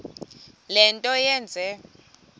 le nto yenze